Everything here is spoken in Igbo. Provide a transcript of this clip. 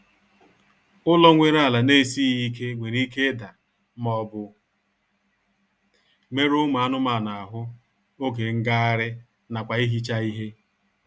Ụlọ nwere ala na-esịghị ike nwere ike ida maọbụ merụọ ụmụ anụmanụ ahụ oge ngagharị nakwa ihicha ihe